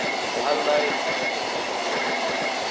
Wax ladaxay Alice majirto.